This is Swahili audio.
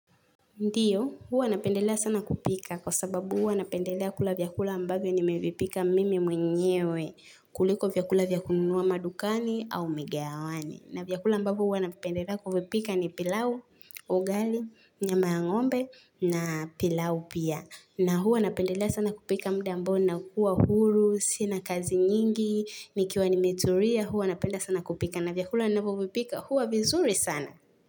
Ndiyo, huwa napendelea sana kupika kwa sababu huwa napendelea kula vyakula ambavyo ni mevipika mimi mwenyewe, kuliko vyakula vyakununua madukani au migawani. Na vyakula ambavyo huwa napendelea kuvipika ni pilau, ugali, nyama ya ng'ombe na pilau pia. Na huwa napendelea sana kupika mda ambao na kuwa huru, sina kazi nyingi, nikiwa ni meturia, huwa napenda sana kupika. Na vyakula ninavyopika huwa vizuri sana.